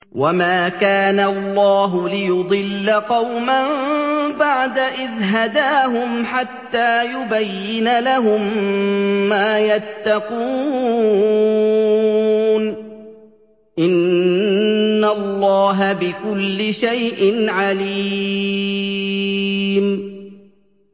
وَمَا كَانَ اللَّهُ لِيُضِلَّ قَوْمًا بَعْدَ إِذْ هَدَاهُمْ حَتَّىٰ يُبَيِّنَ لَهُم مَّا يَتَّقُونَ ۚ إِنَّ اللَّهَ بِكُلِّ شَيْءٍ عَلِيمٌ